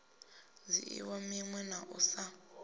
dzhiiwa minwe na u sa